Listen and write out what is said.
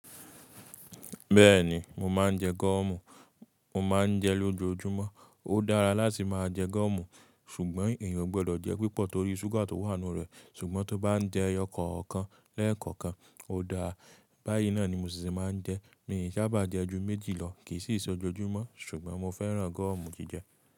Béèni mo máa n je gómù, mo máa n je é lójo júmó ó dára láti máa je gómù, sùgbón ènìyàn ò gbo dò jé púpò nítorí súgà tó wà nínú rè. Sùgbón t'o bá n je eyo kànkan l'é n kànkan ó dára. Báyìí náà ni mo ṣì ṣe máa ń jé. Mi ò sábà jẹ ju méjì lọ, kì í sì ṣe ojoojúmọ́ ṣùgbọ́n mo fẹ́ràn gọ́ọ̀mù jí jẹ.